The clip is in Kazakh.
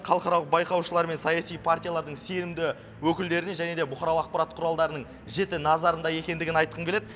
халықаралық байқаушылар мен саяси партиялардың сенімді өкілдерінің және де бұқаралық ақпарат құралдарының жіті назарында екендігін айтқым келеді